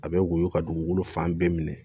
A bɛ woyo ka dugukolo fan bɛɛ minɛ